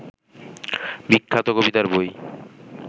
বিখ্যাত কবিতার বই